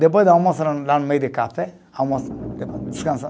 Depois de almoça lá, lá no meio de café, almoça, descansar